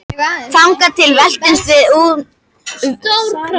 Þangað til veltumst við um úr hamingju.